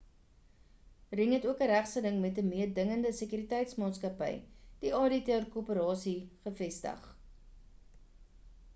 ring het ook 'n regsgeding met 'n meedingende sekuriteitsmaatskappy die adt korporasie gevestig